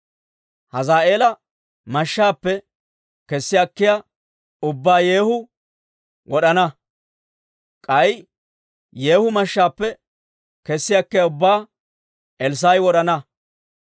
Hazaa'eela mashshaappe kessi akkiyaa ubbaa Yeehu wod'ana; k'ay Yeehu mashshaappe kessi akkiyaa ubbaa Elssaa'i wod'ana.